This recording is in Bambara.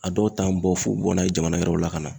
A dɔw t'an bɔ f'u bɛ bɔ n'a ye jamana wɛrɛw la ka na.